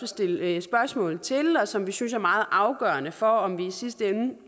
stille spørgsmål til og som vi synes er meget afgørende for om vi i sidste ende